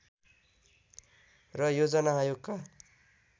र योजना आयोगका